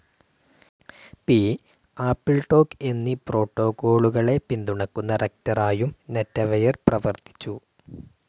P., AppleTalk എന്നീ പ്രോട്ടോകോളുകളെ പിന്തുണയ്ക്കുന്ന റക്റ്ററായും നെറ്റെവെയർ പ്രവർത്തിച്ചു.